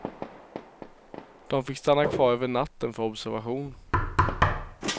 De fick stanna kvar över natten för observation.